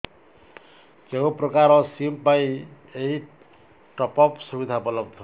କେଉଁ ପ୍ରକାର ସିମ୍ ପାଇଁ ଏଇ ଟପ୍ଅପ୍ ସୁବିଧା ଉପଲବ୍ଧ